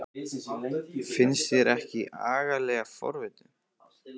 Finnst þér ég ekki agalega forvitin?